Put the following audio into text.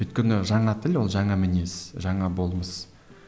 өйткені жаңа тіл ол жаңа мінез жаңа болмыс